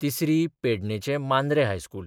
तिसरी पेडणेंचें मांद्रे हायस्कूल.